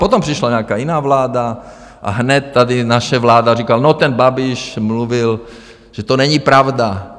Potom přišla nějaká jiná vláda a hned tady naše vláda říkala: No, ten Babiš mluvil, že to není pravda...